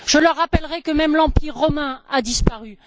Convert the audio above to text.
Je leur rappellerai que même l'empire romain a disparu.